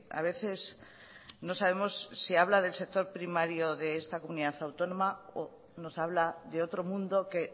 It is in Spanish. a veces no sabemos si habla del sector primario de esta comunidad autónoma o nos habla de otro mundo que